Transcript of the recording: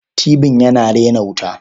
Tibin yana rena wuta.